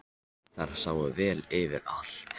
Þar sáu þær vel yfir allt.